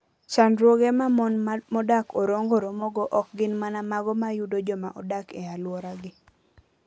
Chandruoge ma mon modak Orongo romogo ok gin mana mago ma yudo joma odak e alworagi.